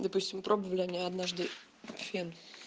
допустим пробовали они однажды фен